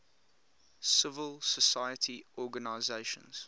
civil society organizations